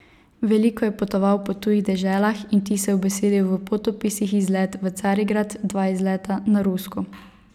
Veliko je potoval po tujih deželah in vtise ubesedil v potopisih Izlet v Carigrad, Dva izleta na Rusko.